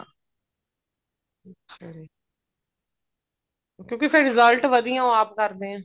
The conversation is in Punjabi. ਕਿਉਂਕਿ ਫੇਰ result ਵਧੀਆ ਉਹ ਆਪ ਕਰਦੇ ਨੇ